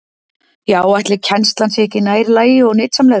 Já, ætli kennslan sé ekki nær lagi og nytsamlegri?